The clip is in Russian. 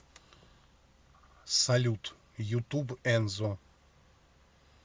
салют ютуб энзо